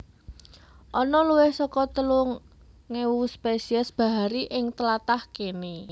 Ana luwih saka telung ewu spesies bahari ing tlatah kéné